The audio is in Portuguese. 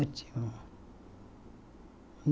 Ótimo.